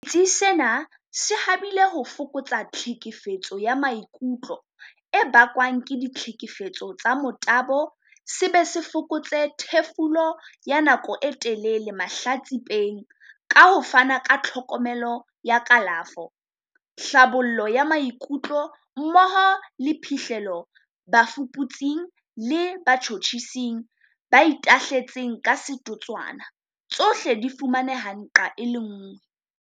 Setsi sena se habile ho fokotsa tlhekefetseho ya maikutlo e bakwang ke ditlhekefetso tsa motabo se be se fokotse thefuleho ya nako e telele mahlatsi-peng ka ho fana ka tlhokomelo ya kalafo, tlhabollo ya maikutlo mmoho le phihlello bafuputsi-ng le batjhutjhising ba itahle-tseng ka setotswana, tsohle di fumaneha nqa e le nngwe.